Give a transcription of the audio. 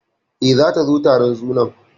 E, zata zo taron sunan.